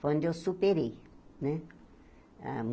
Foi onde eu superei, né? Hã